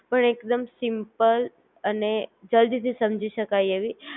પણ, એકદમ સિમ્પલ અને જલ્દી થી સમજી શકાય એવી